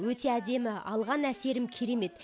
өте әдемі алған әсерім керемет